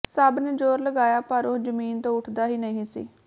ਸਭ ਨੇ ਜ਼ੋਰ ਲਗਾਇਆ ਪਰ ਉਹ ਜ਼ਮੀਨ ਤੋਂ ਉਠਦਾ ਹੀ ਨਹੀਂ ਸੀ